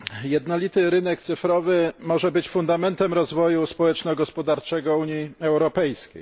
Jednolity rynek cyfrowy może być fundamentem rozwoju społeczno gospodarczego Unii Europejskiej.